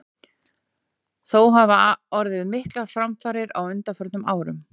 Þó hafa orðið miklar framfarir á undanförnum árum.